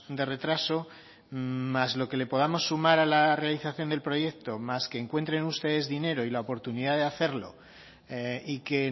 de retraso más lo que le podamos sumar a la realización del proyecto más que encuentren ustedes dinero y la oportunidad de hacerlo y que